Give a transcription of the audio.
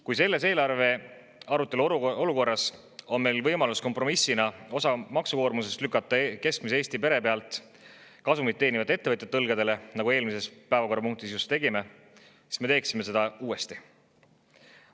Kui selles eelarve arutelu olukorras on meil võimalus kompromissina osa maksukoormusest lükata keskmise Eesti pere pealt kasumit teenivate ettevõtjate õlgadele, nagu me eelmises päevakorrapunktis just tegime, siis me teeksime seda uuesti.